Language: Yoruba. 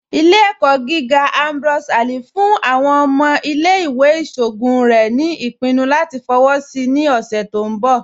Ìlẹ̀-ẹ̀kọ gígà Ambrose Ali fún àwọn ọmọ ìlẹ̀-ìwé ìṣọogun rẹ̀ ni ipinnú latí fọwọ́ sí ní ọṣẹ̀ tó kọ̀jà.